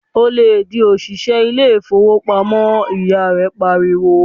"Ò lè di òṣìṣẹ́ ilé ìfowópamọ́!", ìyá rẹ pariwo.